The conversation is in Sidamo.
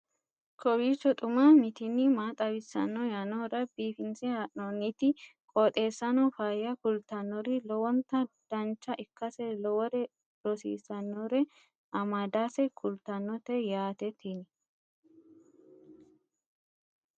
kowiicho xuma mtini maa xawissanno yaannohura biifinse haa'noonniti qooxeessano faayya kultannori lowonta dancha ikkase lowore rosiisannore amadase kultannote yaate tini